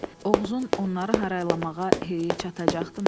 Oğuzun onları haraylamağa heyi çatacaqdımi?